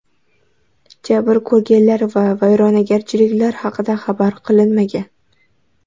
Jabr ko‘rganlar va vayronagarchiliklar haqida xabar qilinmagan.